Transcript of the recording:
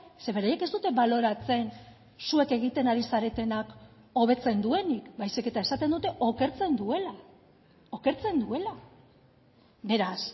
ze beraiek ez dute baloratzen zuek egiten ari zaretenak hobetzen duenik baizik eta esaten dute okertzen duela okertzen duela beraz